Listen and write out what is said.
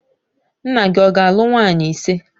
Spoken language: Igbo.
Nna gị ọ ga-alụ nwunye ise?